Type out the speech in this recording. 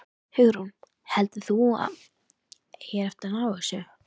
Hugrún: Heldurðu að þú eigir eftir að ná þessu?